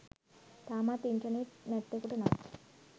තාමත් ඉන්ටර්නෙට් නැත්තෙකුට නම්